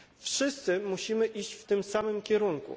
Wszyscy musimy iść w tym samym kierunku.